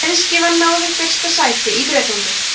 breiðskífan náði fyrsta sæti í bretlandi